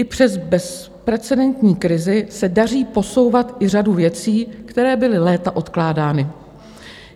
I přes bezprecedentní krizi se daří posouvat i řadu věcí, které byly léta odkládány.